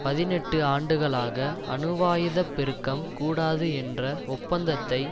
பதினெட்டு ஆண்டுகளாக அணுவாயுத பெருக்கம் கூடாது என்ற ஒப்பந்தத்தை